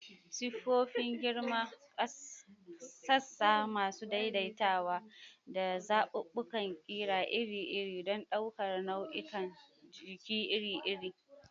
Siffofin girma, sassa masu daidaitawa, da zaɓuɓɓukan ƙira iri-iri don ɗaukar nau'ikan jiki iri-iri.